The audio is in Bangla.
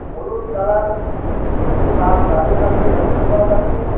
হলুদ কালার একটি বাস দাঁড়িয়ে থাকতে লক্ষ করা যাচ্ছে।